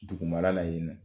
Dugu mara la yen nɔ